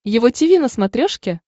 его тиви на смотрешке